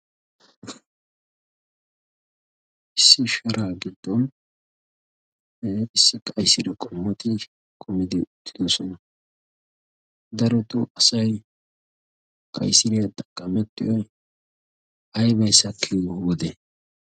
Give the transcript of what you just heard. issi sharaa gidxon haafissa qayisiria qomuotii komidii uttidosona? daroto asay qayisiiriyaa xaqqamettiyoy aybay sakkiiyo wode?